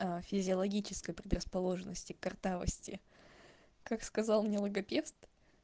ээ физиологической предрасположенности картавости как сказал мне логопед